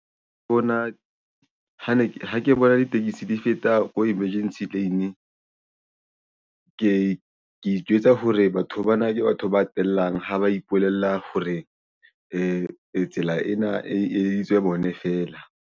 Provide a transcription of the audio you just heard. Ha ke bona ditekesi di feta ko emergency lane, ke itjwetsa hore batho bana ke batho ba tellang ha ba ipolella hore tsela ena e editswe bone feela.